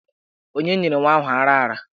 Onye nyere nwa ahụ ara ara?